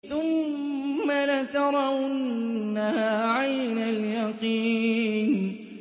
ثُمَّ لَتَرَوُنَّهَا عَيْنَ الْيَقِينِ